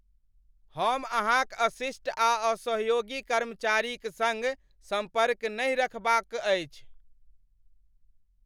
हम अहाँक अशिष्ट आ असहयोगी कर्मचारीक सङ्ग संपर्क नहि राखबा क अछि ।